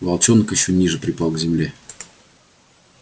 волчонок ещё ниже припал к земле